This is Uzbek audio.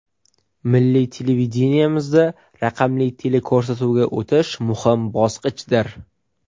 Milliy televideniyemizda raqamli teleko‘rsatuvga o‘tish muhim bosqichdir.